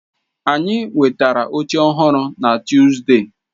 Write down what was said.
Anyị nwetara oche ọhụrụ na Tuuzde.